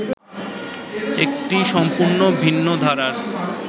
একটি সম্পূর্ণ ভিন্ন ধারার